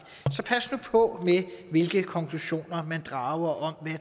så pas nu på med hvilke konklusioner man drager om